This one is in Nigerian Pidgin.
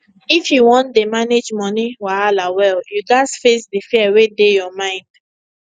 if you wan dey manage money wahala well you gats face di fear wey dey your mind